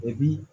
O bi